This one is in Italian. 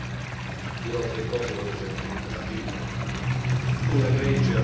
La prima sulla Grecia l'accordo raggiunto è positivo.